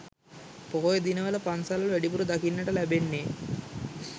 පොහොය දිනවල පන්සල්වල, වැඩිපුර දකින්නට ලැබෙන්නේ